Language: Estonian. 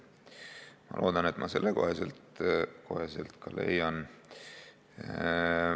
Ma loodan, et ma selle koha ka üles leian.